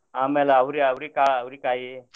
ಅಮ್ಯಾಲ ಅವ್ರಿ~ ಅವ್ರಿ~ ಅವ್ರಿಕಾಯಿ.